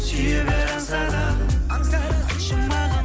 сүйе бер аңсағаным жұмағым